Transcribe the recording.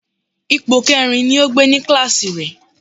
Ipò kẹrin ni ó gbé ní kíláàsì rẹ̀